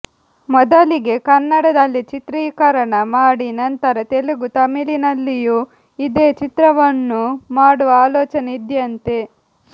ಮೊದಲಿಗೆ ಕನ್ನಡದಲ್ಲಿ ಚಿತ್ರೀಕರಣ ಮಾಡಿ ನಂತರ ತೆಲುಗು ತಮಿಳಿನಲ್ಲಿಯೂ ಇದೇ ಚಿತ್ರವನ್ನು ಮಾಡುವ ಆಲೋಚನೆ ಇದ್ಯಂತೆ